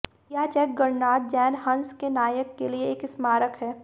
यह चेक गणराज्य जैन हस के नायक के लिए एक स्मारक है